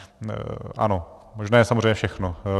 Ano, možné je samozřejmě všechno.